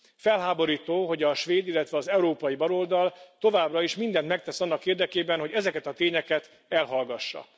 Felháborító, hogy a svéd, illetve az európai baloldal továbbra is mindent megtesz annak érdekében, hogy ezeket a tényeket elhallgassa.